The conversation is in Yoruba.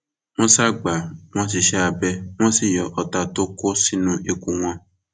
wọn ṣáà gbà wọn síṣẹ abẹ wọn sì yọ ọta tó kó sínú ikùn wọn